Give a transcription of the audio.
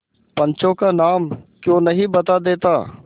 पंचों का नाम क्यों नहीं बता देता